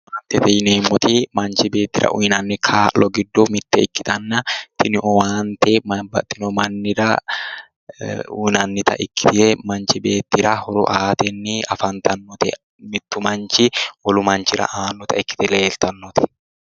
Owaanitete yineemoti Manichi beetira uyinayte giddo mitte ikkitana tini owaanite babbaxino mannira uyinannita ikkitee manichi beetira horo aateni afanitannote mittu manichi wolu Manichira aanata ikkite leelitannote